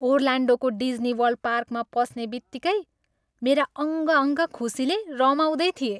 ओर्लान्डोको डिज्नीवर्ल्ड पार्कमा पस्नेबित्तिकै मेरा अङ्ग अङ्ग खुसीले रमाउँदै थिए।